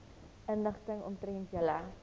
inligting omtrent julle